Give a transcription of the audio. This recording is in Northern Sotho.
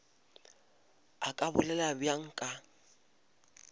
a ka bolela bjalo ka